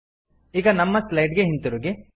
ಈಗ ನಮ್ಮ ಸ್ಲೈಡ್ ಗೆ ಹಿಂದಿರುಗಿ